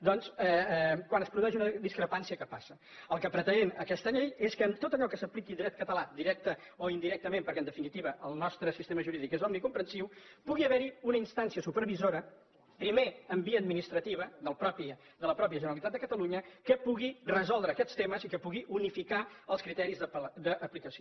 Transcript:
doncs quan es produeix una discrepància què passa el que pretén aquesta llei és que en tot allò que s’apliqui dret català directament o indirectament perquè en definitiva el nostre sistema jurídic és omnicomprensiu pugui haver hi una instància supervisora primer en via administrativa de la mateixa generalitat de catalunya que pugui resoldre aquests temes i que pugui unificar els criteris d’aplicació